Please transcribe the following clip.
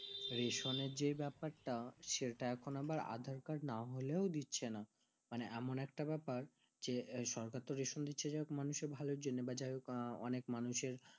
রেশনের যেই ব্যাপার তা সেটা এখন আবার aadhar card না হলেও দিচ্ছে না মানে এমন একটি ব্যাপার যে সরকার তো রেশম দিচ্ছে যে মানুষের ভালোর জন্য বা অনেক মানুষের